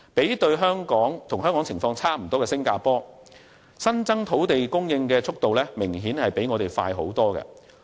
與香港情況相若的新加坡，土地供應的增長速度明顯較我們快很多。